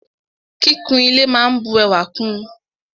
Kíkún ile máa n bu ẹwà kún ùn.